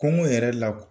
Kungo yɛrɛ la